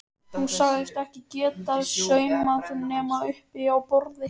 Hún sagðist ekki geta saumað nema uppi á borði.